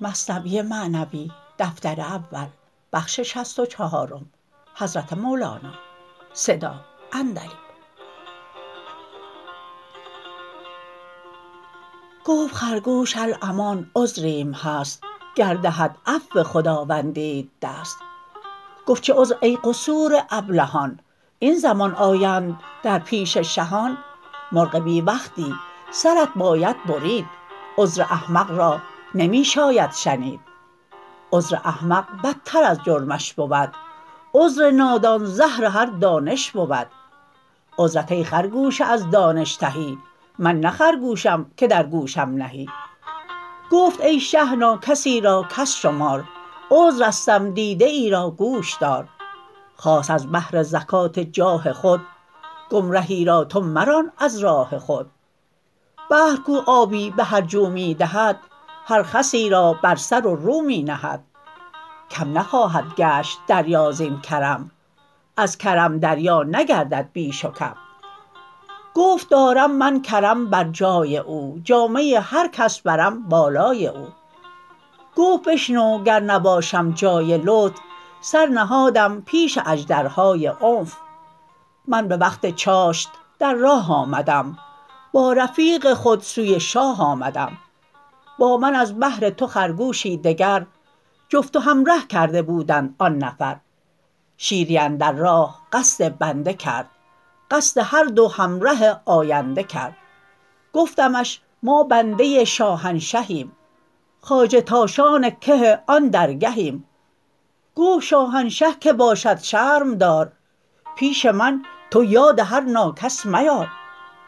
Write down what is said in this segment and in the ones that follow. گفت خرگوش الامان عذریم هست گر دهد عفو خداوندیت دست گفت چه عذر ای قصور ابلهان این زمان آیند در پیش شهان مرغ بی وقتی سرت باید برید عذر احمق را نمی شاید شنید عذر احمق بدتر از جرمش بود عذر نادان زهر هر دانش بود عذرت ای خرگوش از دانش تهی من نه خرگوشم که در گوشم نهی گفت ای شه ناکسی را کس شمار عذر استم دیده ای را گوش دار خاص از بهر زکات جاه خود گمرهی را تو مران از راه خود بحر کو آبی به هر جو می دهد هر خسی را بر سر و رو می نهد کم نخواهد گشت دریا زین کرم از کرم دریا نگردد بیش و کم گفت دارم من کرم بر جای او جامه هر کس برم بالای او گفت بشنو گر نباشم جای لطف سر نهادم پیش اژدرهای عنف من به وقت چاشت در راه آمدم با رفیق خود سوی شاه آمدم با من از بهر تو خرگوشی دگر جفت و همره کرده بودند آن نفر شیری اندر راه قصد بنده کرد قصد هر دو همره آینده کرد گفتمش ما بنده شاهنشهیم خواجه تاشان که آن درگهیم گفت شاهنشه کی باشد شرم دار پیش من تو یاد هر ناکس میار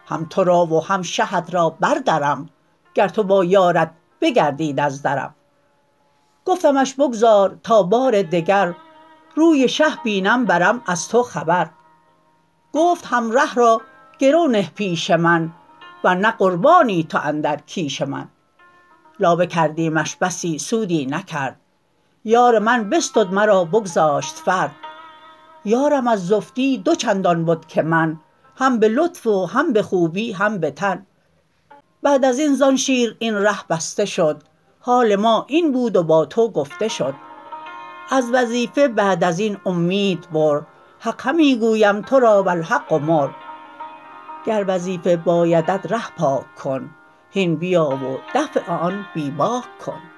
هم ترا و هم شهت را بردرم گر تو با یارت بگردید از درم گفتمش بگذار تا بار دگر روی شه بینم برم از تو خبر گفت همره را گرو نه پیش من ور نه قربانی تو اندر کیش من لابه کردیمش بسی سودی نکرد یار من بستد مرا بگذاشت فرد یارم از زفتی دو چندان بد که من هم به لطف و هم به خوبی هم به تن بعد ازین زان شیر این ره بسته شد حال ما این بود و با تو گفته شد از وظیفه بعد ازین اومید بر حق همی گویم ترا والحق مر گر وظیفه بایدت ره پاک کن هین بیا و دفع آن بی باک کن